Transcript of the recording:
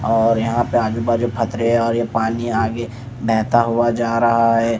और यहाँ पे आजू-बाजू फतरे हैं और ये पानी आगे बहता हुआ जा रहा है ।